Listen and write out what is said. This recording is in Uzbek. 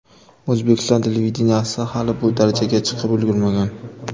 O‘zbekiston televideniyesi hali bu darajaga chiqib ulgurmagan.